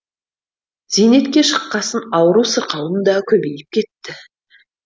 зейнетке шыққасын ауру сырқауым да көбейіп кетті